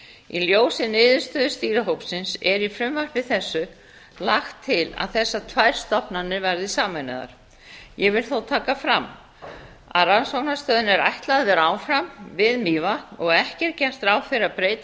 í ljósi niðurstöðu stýrihópsins er í frumvarpi þessu lagt til að þessar tvær stofnanir verði sameinaðar ég vil þó taka fram að rannsóknastöðinni er ætlað að vera áfram við mývatn og ekki er gert ráð fyrir að breyta